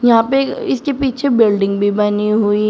यहां पे इसके पीछे बिल्डिंग भी बनी हुई--